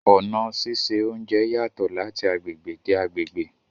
Ọna síṣẹ ọ̀unjẹ yatọ̀ lati agbegbe de agbegbe